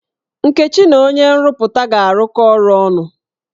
Nkechi na onye nrụpụta ga-arụkọ ọrụ ọnụ.